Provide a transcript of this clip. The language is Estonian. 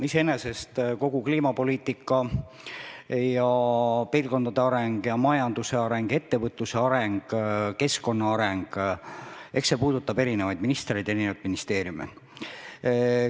Iseenesest eks kogu kliimapoliitika ja piirkondade areng, majanduse areng, ettevõtluse areng ja keskkonna areng puudutab eri ministreid ja ministeeriume.